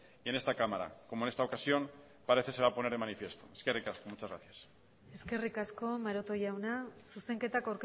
y en esta cámara como en esta ocasión parece se va a poner de manifiesto eskerrik asko muchas gracias eskerrik asko maroto jauna zuzenketak